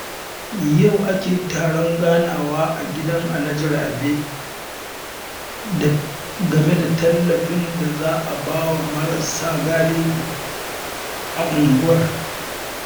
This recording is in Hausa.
Yau ake taron ganawa a gidan Alhaji Rabe game da tallafin da za a ba wa marasa galihu a unguwar